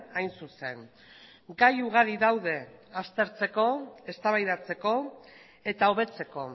hain zuzen gai ugari daude aztertzeko eztabaidatzeko eta hobetzeko